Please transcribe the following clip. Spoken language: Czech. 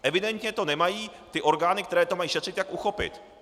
Evidentně to nemají ty orgány, které to mají šetřit, jak uchopit.